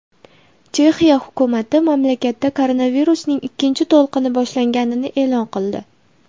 Chexiya hukumati mamlakatda koronavirusning ikkinchi to‘lqini boshlanganini e’lon qildi.